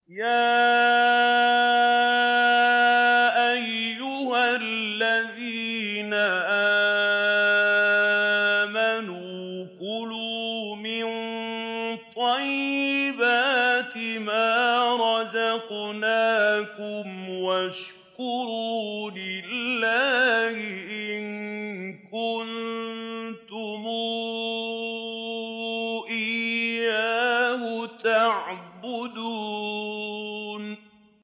يَا أَيُّهَا الَّذِينَ آمَنُوا كُلُوا مِن طَيِّبَاتِ مَا رَزَقْنَاكُمْ وَاشْكُرُوا لِلَّهِ إِن كُنتُمْ إِيَّاهُ تَعْبُدُونَ